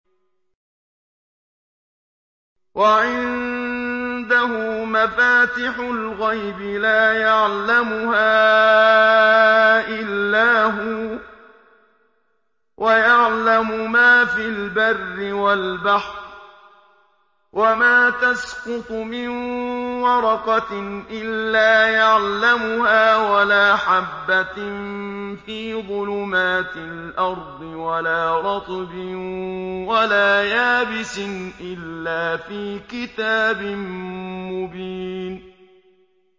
۞ وَعِندَهُ مَفَاتِحُ الْغَيْبِ لَا يَعْلَمُهَا إِلَّا هُوَ ۚ وَيَعْلَمُ مَا فِي الْبَرِّ وَالْبَحْرِ ۚ وَمَا تَسْقُطُ مِن وَرَقَةٍ إِلَّا يَعْلَمُهَا وَلَا حَبَّةٍ فِي ظُلُمَاتِ الْأَرْضِ وَلَا رَطْبٍ وَلَا يَابِسٍ إِلَّا فِي كِتَابٍ مُّبِينٍ